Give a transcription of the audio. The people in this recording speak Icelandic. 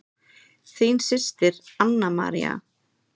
Þín systir, Anna María.